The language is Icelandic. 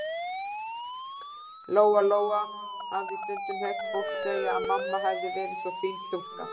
Lóa-Lóa hafði stundum heyrt fólk segja að mamma hefði verið svo fín stúlka.